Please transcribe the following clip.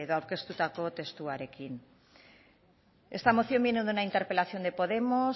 aurkeztutako testuarekin esta moción viene de una interpelación de podemos